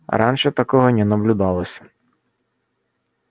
раньше такого не наблюдалось